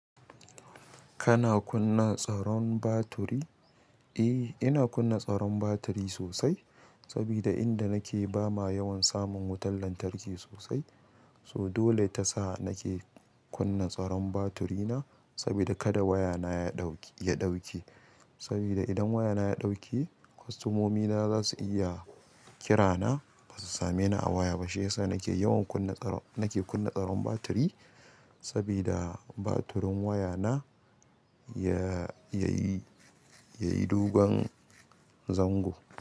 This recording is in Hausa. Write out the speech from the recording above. Kana kunna tsaron baturi? Eh, ina kunna tsaron baturi sosai saboda inda nake ba ma yawan samun wutan lantarki sosai. So dole ta sa nake kunna tsaron baturi na saboda kada wayana ya ɗauke saboda idan wayana ya ɗauki, kwastomomina za su iya kira na ba su same ni a waya ba. Shiyasa nake yawan kunna tsaron, nake kunna tsaron baturi sabida batirin wayana ya, ya yi, ya yi dogon zango.